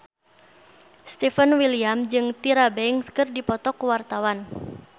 Stefan William jeung Tyra Banks keur dipoto ku wartawan